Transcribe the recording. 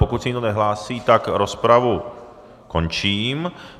Pokud se nikdo nehlásí, tak rozpravu končím.